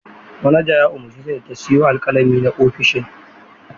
Manaja ya umarce ta da ta siyo alkalami na ofishin.